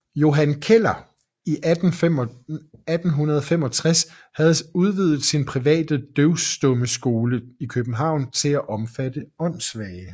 Johan Keller i 1865 havde udvidet sin private døvstummeskole i København til at omfatte åndssvage